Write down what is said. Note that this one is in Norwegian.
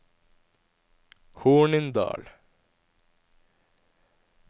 Hornindal